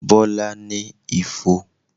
Bọlá ní ifo